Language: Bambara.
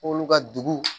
K'olu ka dugu